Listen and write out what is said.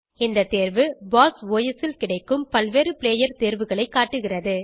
இந்த தேர்வு BOSS OS ல் கிடைக்கும் பல்வேறு பிளேயர் தேர்வுகளை காட்டுகிறது